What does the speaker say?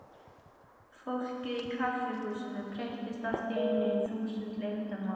Fólkið í kaffihúsinu breyttist allt í einu í þúsund leyndarmál.